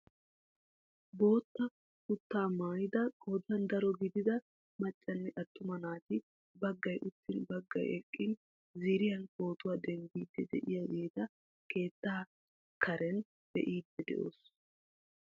Bootta kutaa maayida qoodan daro gidiida maccanne attuma naati baggay uttin baggay eqqin ziiriyaan pootuwaa denddiidi de'iyaageeta keettaa karen be'iidi de'oos.